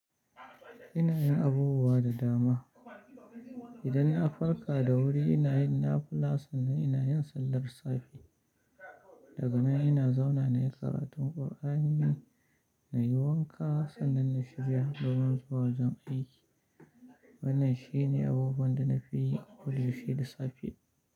Ina yin abubuwa da dama. Idan na farka da wuri ina yin nafila sannan ina yin sallar safe, daga nan ina zauna na yi karatun Kur'ani, na yi wanka sannan na shirya domin zuwa wajen aiki. Wannan shi ne abubuwan da nake yi a koda yaushe da safe.